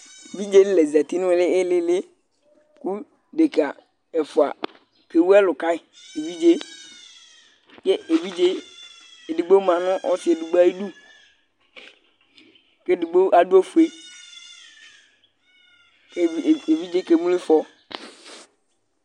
Evidzenɩ la zati nʋ ɛmɛ nʋ ɩɩlɩ ɩɩlɩ kʋ dekǝ ɛfʋa kewu ɛlʋ ka yɩ evidze yɛ Yɛ evidze edigbo ma nʋ ɔsɩ edigbo ayidu kʋ edigbo adʋ ofue kʋ ev evidze yɛ kemlo ɩfɔ